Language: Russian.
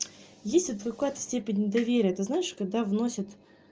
есть вот какая-то степень недоверия ты знаешь когда вносят